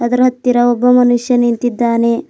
ಇದರ ಹತ್ತಿರ ಒಬ್ಬ ಮನುಷ್ಯ ನಿಂತಿದ್ದಾನೆ.